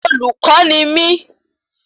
Olùkọ́ ni mí